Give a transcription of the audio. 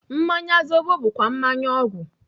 Mmanya zobo bụkwa mmanya ọgwụ.